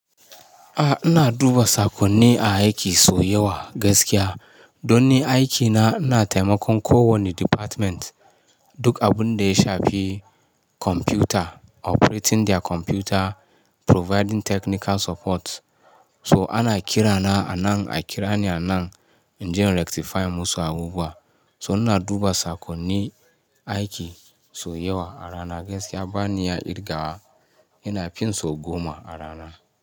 A'a ina duba sakonni a aiki sau yawa gaskiya. Don ni aikina ina taimakon ko wanne department duk abun da ya shafi kwamfuta, operating their computer, providing technical support. So ana kirana a nan a kirani a nan in je in rectify musu abubuwa. So ina duba sakonni aiki sau yawa a rana gaskiya bani iya kirgawa. Ina fin so goma a rana.